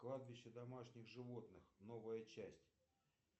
кладбище домашних животных новая часть